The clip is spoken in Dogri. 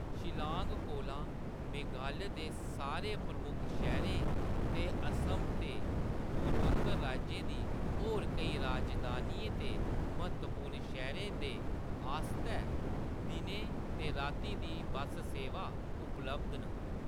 शिल्लाँग कोला मेघालय दे सारे प्रमुख शैह्‌‌‌रें ते असम ते पूरव-उत्तर राज्यें दी होर केईं राजधानियें ते म्हत्तवपूर्ण शैह्‌‌‌रें द आस्तै दिनें ते रातीं दी बस्स सेवां उपलब्ध न।